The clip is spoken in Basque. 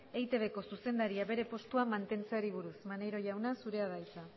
eitbko zuzendaria bere postuan mantentzeari buruz maneiro jauna zurea da hitza